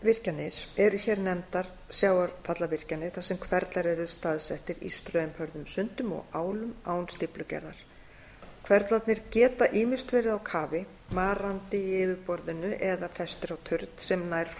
strandvirkjanir eru hér nefndar sjávarfallavirkjanir þar sem hverflar eru staðsettir í straumhörðum sundum og álum án stíflugerðar hverflarnir geta ýmist verið á kafi marandi í yfirborðinu eða festir á turn sem nær frá